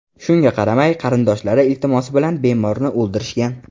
Shunga qaramay, qarindoshlari iltimosi bilan bemorni o‘ldirishgan.